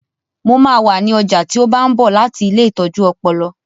Mo máa wà ní ọjà tí ó bá ń bọ̀ láti ilée ìtọ́jú ọpọlọ